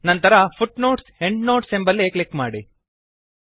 ನಂತರ footnotesಎಂಡ್ನೋಟ್ಸ್ ಎಂಬಲ್ಲಿ ಕ್ಲಿಕ್ ಮಾಡಿ